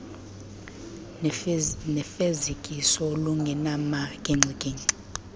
nefezekiso olungenamagingxi gingxi